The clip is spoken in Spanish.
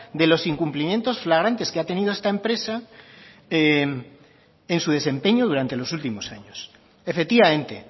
de los incumplimientos flagrantes que ha tenido esta empresa en su desempeño durante los últimos años efectivamente